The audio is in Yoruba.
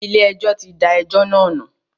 Ilé ẹjọ́ tí da ẹjọ́ náà nù.